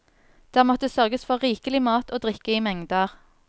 Der måtte sørges for rikelig mat og drikke i mengder.